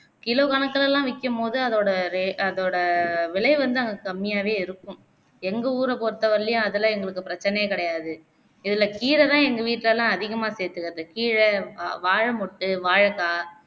kilo கணக்குலலாம் விற்கும்போது அதோட ரெ அதோட விலை வந்து அங்க கம்மியாவே இருக்கும் எங்க ஊர பொருத்தவரையிலையும் அதெல்லாம் எங்களுக்கு பிரச்சனையே கிடையாது இதுலே கீரைதான் எங்க வீட்டிலலாம் அதிகமா சேர்த்துக்குறது கீரை அ, வாழைமொட்டு, வாழைக்காய்